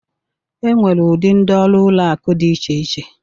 Enwere ụdị ndị ọrụ ụlọ akụ dị iche iche